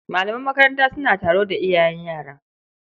Malaman makaranta suna taro da iyayen yara.